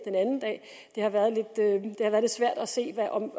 de har været lidt svært at se om